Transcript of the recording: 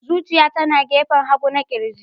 Zuciya tana gefen hagu na ƙirji.